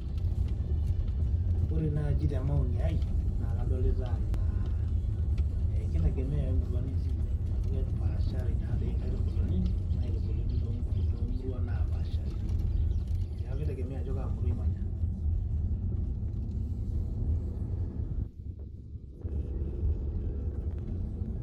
Ore naji te maoni ai na kadolita anaa keitegemea anaa emurua nitii amu kepashaa naa nkaitubulini naitubuluni tomuraishi napashari ,neaku kitegemea ajo kaa murua imanya.